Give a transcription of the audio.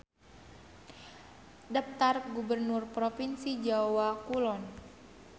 Daptar gubernur propinsi Jawa Kulon.